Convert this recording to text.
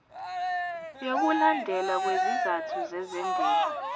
yokulandelwa kwezizathu zezendalo